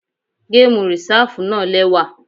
Gamu Risafu náa lẹwa.